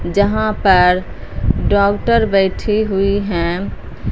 जहां पर डॉक्टर बैठी हुई हैं।